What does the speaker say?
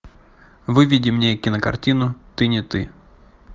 выведи мне кинокартину ты не ты